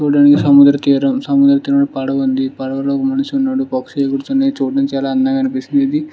ఇదొక సముద్ర తీరం సముద్రతీరంలో పడవుంది. పడవలో ఒక మనిషి ఉన్నాడు. పక్షి ఎగురుతుంది. చూడడానికి చాల అందంగా కనిపిస్తుంది. ఇది --